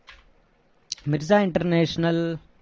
Mirza international